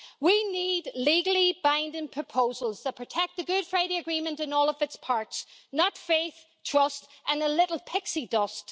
We need legally binding proposals that protect the Good Friday Agreement in all of its parts not faith, trust and a little pixie dust.